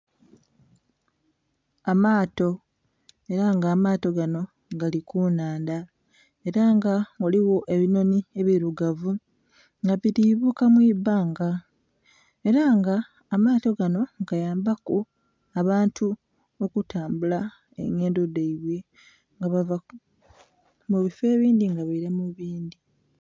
Amaato era nga amaato ganho gali ku nhandha era nga ghaligho ebinhonhi ebirugavu nga bili bukalu mwibanga era nga amaato ganho gayambaku abanti okutambula engendho dhaibwe nga bava mu bifoo ebindhi nga baila mu bindhi.